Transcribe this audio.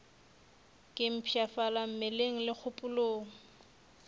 ke mpshafala mmeleng le kgopolong